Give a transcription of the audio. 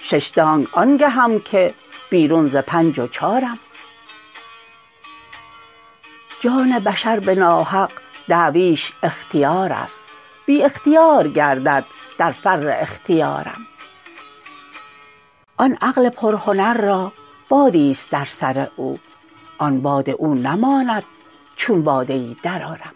شش دانگ آن گهم که بیرون ز پنج و چارم جان بشر به ناحق دعویش اختیار است بی اختیار گردد در فر اختیارم آن عقل پرهنر را بادی است در سر او آن باد او نماند چون باده ای درآرم